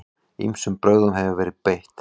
Ýmsum brögðum hefur verið beitt.